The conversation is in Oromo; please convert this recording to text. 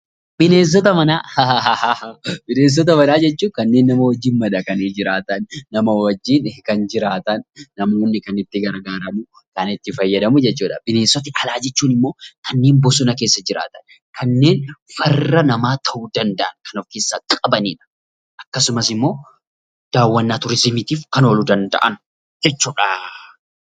Bineensota manaa jechuun kanneen nama wajjin madaqanii jiraatan, nama wajjin kan jiraatan, namoonni kan itti gargaaramu, kan itti fayyadamu jechuudha. Bineensota alaa jechuun ammoo kanneen bosona keessa jiraatan, kanneen farra namaa ta'uu danda'an kan of keessaa qabanidha. Akkasumas immoo daawwannaa turizimiitiif kan ooluu danda'an jechuudha.